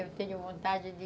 Eu tenho vontade de...